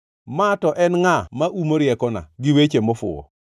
“Ma to en ngʼa ma umo riekona gi weche mofuwo?